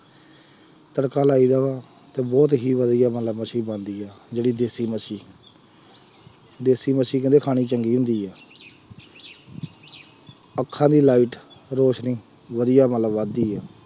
ਤੜਕਾ ਲਾਈਦਾ ਵਾ, ਅਤੇ ਬਹੁਤ ਹੀ ਵਧੀਆ ਮਤਲਬ ਮੱਛੀ ਬਣਦੀ ਹੈ ਜਿਹੜੀ ਦੇਸੀ ਮੱਛੀ ਦੇਸੀ ਮੱਛੀ ਕਹਿੰਦੇ ਖਾਣੀ ਚੰਗੀ ਹੁੰਦੀ ਹੈ ਅੱਖਾਂ ਦੀ light ਰੌਸ਼ਨੀ ਵਧੀਆ ਮਤਲਬ ਵੱਧਦੀ ਹੈ।